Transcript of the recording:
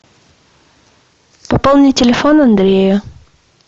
пополни телефон андрея